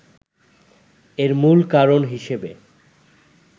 এর মূল কারণ হিসেবে